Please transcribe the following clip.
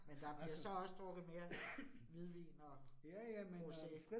Men der bliver så også drukket mere hvidvin og rosé